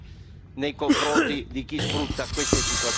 nei confronti di chi sfrutta queste situazioni.